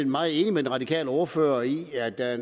meget enig med den radikale ordfører i at det er